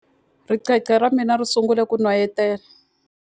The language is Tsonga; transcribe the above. Ricece ra mina ri sungule ku n'wayitela.